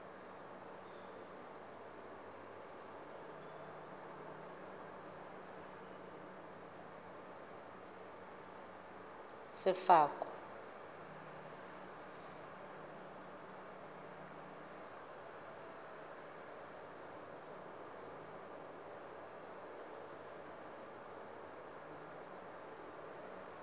sefako